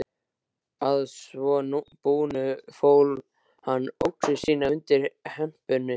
Að svo búnu fól hann öxi sína undir hempunni.